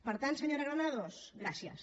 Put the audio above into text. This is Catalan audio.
per tant senyora granados gràcies